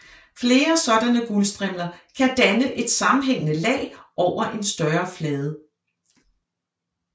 Flere sådanne guldstrimler kan danne et sammenhængende lag over en større flade